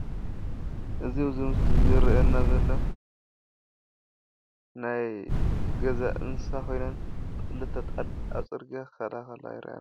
እዚ ኣብዙይ ምስሊ ዝርአየና ዘሎ ናይ ገዛ እንስሳ ኮይነን ክልተ ኣጣል ኣብ ፅርግያ ክከዳ ከለዋ የሪአና ኣሎ።